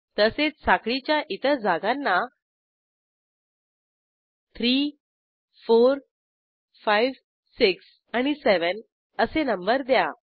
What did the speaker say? तसेच साखळीच्या इतर जागांना 3 4 5 6 आणि 7 असे नंबर द्या